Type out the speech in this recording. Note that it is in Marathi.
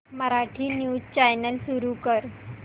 मराठी न्यूज चॅनल सुरू कर